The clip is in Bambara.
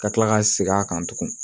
Ka kila ka segin a kan tugun